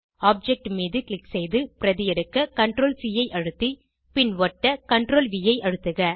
object மீது click செய்து பிரதி எடுக்க CTRLC ஐ அழுத்தி பின் ஒட்ட CTRLV ஐ அழுத்துக